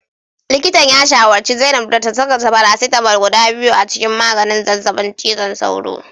Likitan ya shawarci zainab da ta saka paracetamol guda biyu a cikin maganin zazzabin cizon sauro